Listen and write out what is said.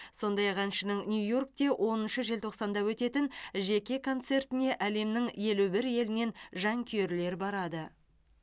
сондай ақ әншінің нью йоркте оныншы желтоқсанда өтетін жеке концертіне әлемнің елу бір елінен жанкүйерлер барады